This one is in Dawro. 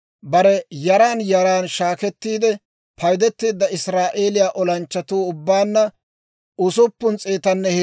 Bare yaran yaran shaakettiide paydeteedda Israa'eeliyaa olanchchatuu ubbaanna 603,550.